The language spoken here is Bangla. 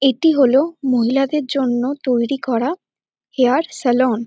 এটি হল মহিলাদের জন্য তৈরি করা হেয়ার সালন ।